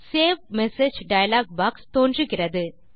save message dialog box தோன்றுகிறது